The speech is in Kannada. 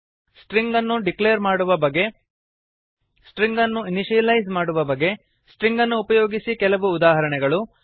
ಸ್ಟ್ರಿಂಗ್ ಅನ್ನು ಡಿಕ್ಲೇರ್ ಮಾಡುವ ಬಗೆ ಸ್ಟ್ರಿಂಗ್ ಅನ್ನು ಇನಿಶಿಯಲೈಸ್ ಮಾಡುವ ಬಗೆ ಸ್ಟ್ರಿಂಗ್ ಅನ್ನು ಉಪಯೋಗಿಸಿ ಕೆಲವು ಉದಾಹರಣೆಗಳು